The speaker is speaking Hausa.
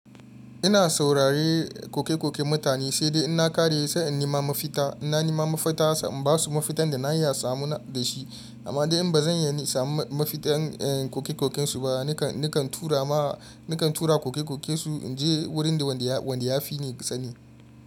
Ina saurari koke-koken mutane, sai dai ina kare sai in nima mafita. Ina nima mafita sam ba su mafitan da na iya samun da shi. Amma dai in ba zan iya samun mafitar koke-kokensu ba, nakan tura ma nakan tura koke-kokensu in je wurin da wanda ya fi ni sani.